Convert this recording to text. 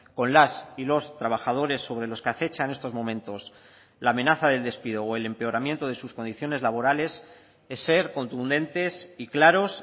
con las y los trabajadores sobre los que acecha en estos momentos la amenaza del despido o el empeoramiento de sus condiciones laborales es ser contundentes y claros